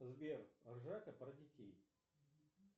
сбер ржака про детей